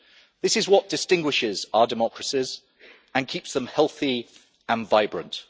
This is what distinguishes our democracies and keeps them healthy and vibrant.